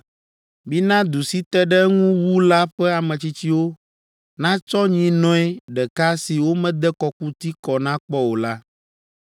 Mina du si te ɖe eŋu wu la ƒe ametsitsiwo natsɔ nyinɔe ɖeka si womede kɔkuti kɔ na kpɔ o la,